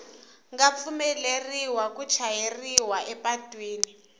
nga pfumeleriwa ku chayeriwa epatwini